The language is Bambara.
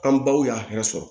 An baw y'a hɛrɛ sɔrɔ